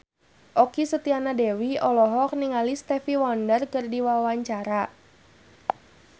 Okky Setiana Dewi olohok ningali Stevie Wonder keur diwawancara